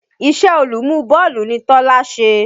Ìṣẹ́ olùmú bọ́ọ̀lù ni Tọ́lá ṣe.